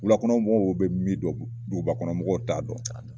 Wulakɔnɔ mɔgɔw bɛ min dɔn duguba kɔnɔ mɔgɔw t'a dɔn